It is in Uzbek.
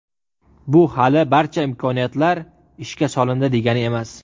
Bu hali barcha imkoniyatlar ishga solindi degani emas.